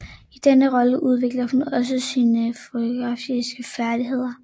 I denne rolle udviklede hun også sine fotografiske færdigheder